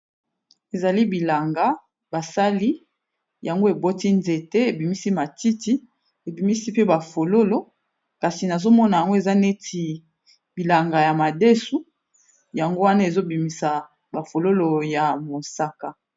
ezali bilanga basali yango eboti nzete ebimisi matiti ebimisi pe bafololo kasi nazomona yango eza neti bilanga ya madesu yango wana ezobimisa bafololo ya mosaka